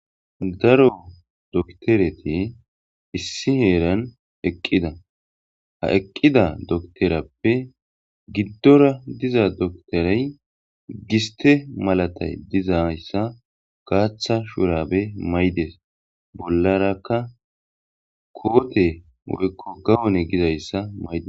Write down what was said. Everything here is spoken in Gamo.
Daro dokitereti issi heranni eqqida .ha eqqida docterappe gidora diza doctereyi gisttera malatizayissa gaththa shurabbe mayides.bollarakka gawonne mayides.